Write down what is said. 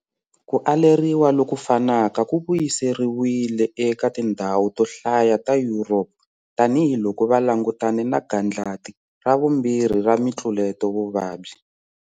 Ku aleriwa loku fanaka ku vuyiseriwile eka tindhawu to hlaya ta Europe tanihi loko va langutane na 'gandlati ra vumbhirhi'ra mitluleto vuvabyi.